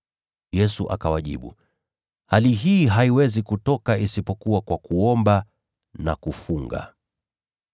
Yesu akawajibu, “Hali hii haiwezi kutoka isipokuwa kwa kuomba na kufunga.”